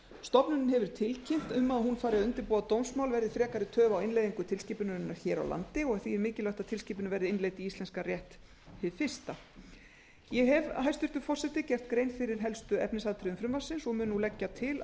stofnunin hefur tilkynnt um að hún fari að undirbúa dómsmál verði frekari töf á innleiðingu tilskipunarinnar hér á landi því er mikilvægt að tilskipunin verði innleidd í íslenskan rétt hið fyrsta ég hef hæstvirtur forseti gert grein fyrir helstu efnisatriðum frumvarpsins og mun nú leggja til að